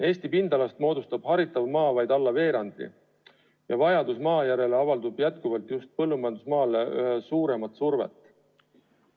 Eesti pindalast moodustab haritav maa vaid alla veerandi ja vajadus maa järele avaldab just põllumajandusmaale üha suuremat survet.